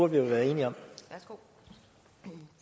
vi er enige om og